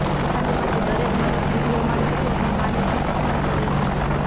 પોતાને માટે દરેક માણસ વિધિઓમાં નથી અથવા માને છે પસંદ કરે છે